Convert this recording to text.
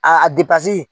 A depase